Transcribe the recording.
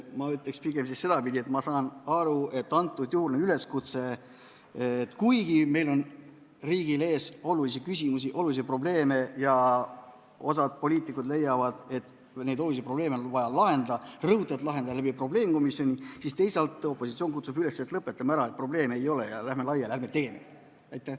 Ma ütleksin pigem sedapidi, et ma saan aru, et antud juhul on üleskutse, et kuigi meie riigi ees on olulisi küsimusi, olulisi probleeme ja osa poliitikuid leiavad, et neid on vaja ka lahendada, rõhutatult lahendada probleemkomisjoni kaudu, siis teisalt kutsub opositsioon üles, et lõpetame ära, probleeme ei ole, läheme laiali, ärme tee neid komisjone.